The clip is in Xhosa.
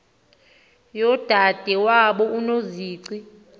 yodade wabo unozici